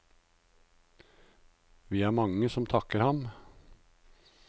Vi er mange som takker ham.